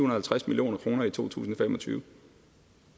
og halvtreds million kroner i to tusind og fem og tyve